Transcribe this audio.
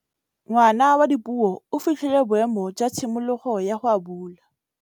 Ngwana wa Dipuo o fitlhile boêmô jwa tshimologô ya go abula.